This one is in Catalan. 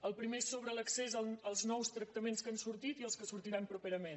el primer és sobre l’accés als nous tractaments que han sortit i als que sortiran propera·ment